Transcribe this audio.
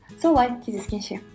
солай кездескенше